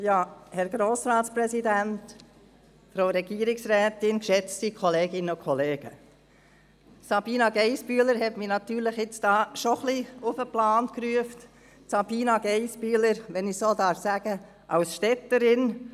Sabina Geissbühler hat mich auf den Plan gerufen – Sabina Geissbühler, eine Städterin, wenn ich das so sagen darf.